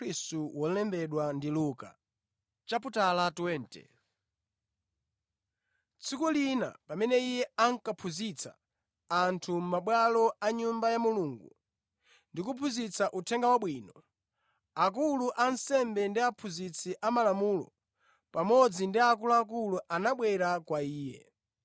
Tsiku lina pamene Iye ankaphunzitsa anthu mʼmabwalo a Nyumba ya Mulungu ndi kuphunzitsa Uthenga Wabwino, akulu a ansembe ndi aphunzitsi amalamulo, pamodzi ndi akuluakulu anabwera kwa Iye.